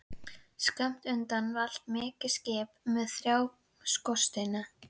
Skammt undan valt mikið skip með þrjá skorsteina.